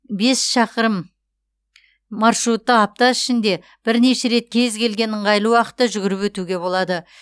бес шақырым маршрутты апта ішінде бірнеше рет кез келген ыңғайлы уақытта жүгіріп өтуге болады